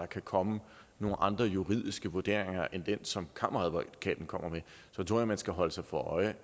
kan komme nogle andre juridiske vurderinger end den som kammeradvokaten kommer med så tror jeg man skal holde sig for øje